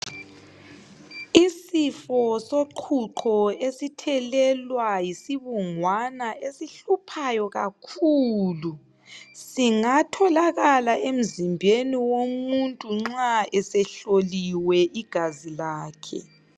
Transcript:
Isifo soqhuqho esithelelwa yisibungwana esihluphayo kakhulu singatholakala emzimbeni womuntuxa esehloliwe igazi lakhe.